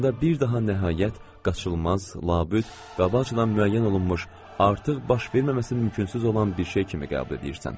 Onda bir daha nəhayət, qaçılmaz, labüd, qabaqcadan müəyyən olunmuş, artıq baş verməməsi mümkünsüz olan bir şey kimi qəbul edirsən.